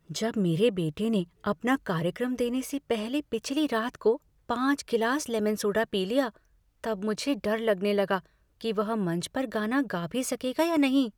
जब मेरे बेटे ने अपना कार्यक्रम देने से पहले पिछली रात को पाँच गिलास लेमन सोडा पी लिया तब मुझे डर लगने लगा कि वह मंच पर गाना गा भी सकेगा या नहीं।